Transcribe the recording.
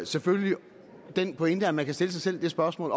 selvfølgelig den pointe at man kan stille sig selv det spørgsmål